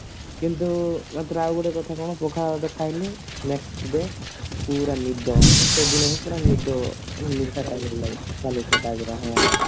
କିନ୍ତୁ ମତରେ ଆଉ ଗୋଟେ କଥା କଣ ପଖାଳ ଭାତ ଖାଇଲେ next day ପୁରା ନିଦ ମାନେ ସେଦିନ ବି ପୁରା ନିଦ ନିଶା ଖାଇଲା ଭଳି ଲାଗିବ ନିଶା ନିଶା type ର